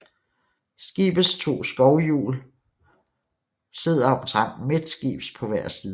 Skibets to skovlhjul sidder omtrent midtskibs på hver side